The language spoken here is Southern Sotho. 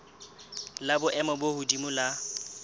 la boemo bo hodimo la